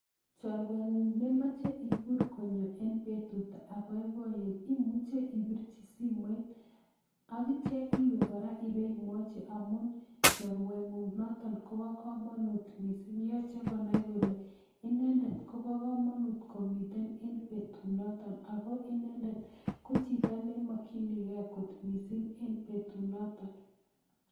Chorweng'ung nemache ikur kony eng betut ab boiboyet imuchen ibirchi simoit atyo imuchen iwe kora iboimwachi amu chorweng'ung notok Kobo kamanut missing yache konai kole inendet Kobo kamanut eng betunatok ako Inendet ko chito nimakinikei kotepe mising eng betunatok